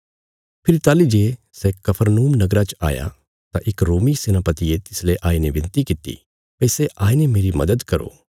फेरी ताहली जे सै कफरनहूम नगरा च आया तां इक रोमी सेनापतिये तिसले आईने बिनती कित्ती भई सै आईने मेरी मदद करो